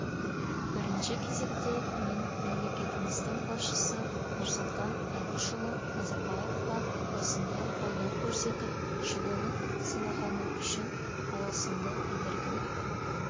бірінші кезекте мен мемлекетіміздің басшысы нұрсұлтан әбішұлы назарбаевқа осындай қолдау көрсетіп жылылық сыйлағаны үшін алғысымды білдіргім